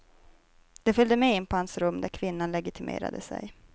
De följde med in på hans rum där kvinnan legitimerade sig.